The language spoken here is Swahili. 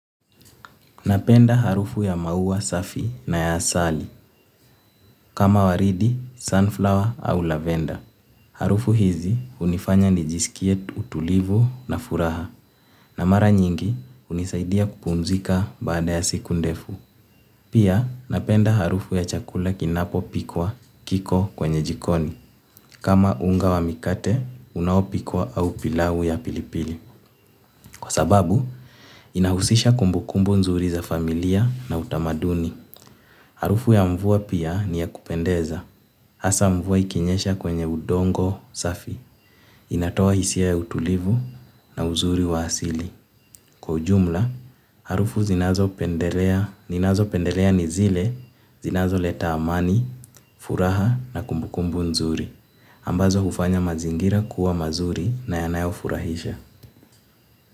Napenda harufu ya maua safi na ya asali kama waridi sunflower ama loverder. Harufu hizi hunifanya nijisikie utulivu na furaha na mara nyingi hunisaidia kupumzika baada ya siku ndefu. Pia napenda harufu ya chakula kinapo pikwa kiko kwenye jikoni kama unga wa mikate unawo pikwa au pilau ya pilipili. Kwa sababu inahusisha kumbukumbu nzuri za familia na utamaduni. Harufu ya mvua pia niyakupendeza. Asa mvua ikinyesha kwenye udongo safi. Inatoa hisia ya utulivu na uzuri wa asili. Kwa ujumla, harufu zinazo pendelea ninazopendelea nizile, zinazo leta amani, furaha na kumbukumbu nzuri. Ambazo hufanya mazingira kuwa mazuri na yanayo furahisha.